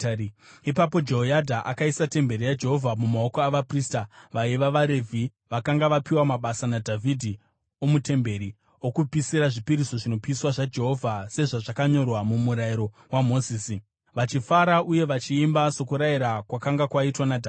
Ipapo Jehoyadha akaisa temberi yaJehovha mumaoko avaprista, vaiva vaRevhi vakanga vapiwa mabasa naDhavhidhi, omutemberi, okupisira zvipiriso zvinopiswa zvaJehovha sezvazvakanyorwa muMurayiro waMozisi, vachifara uye vachiimba, sokurayira kwakanga kwaitwa naDhavhidhi.